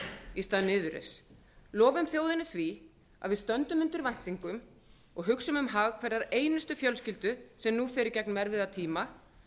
í stað niðurrifs lofum þjóðinni því að við stöndum undir væntingum og hugsum um hag hverrar einustu fjölskyldu sem nú fer í gegnum erfiða tíma